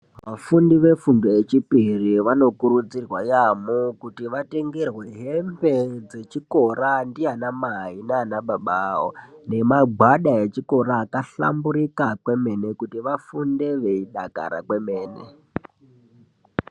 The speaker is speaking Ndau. Vafundi vefundo yechipiri vanokurudzirwa yambo kuti vatengerwe hembe dzechikora ndiana Mai nana baba avo nemagwada echikora akahlamburuka kwemene kuti vafunde veidakara kwemene.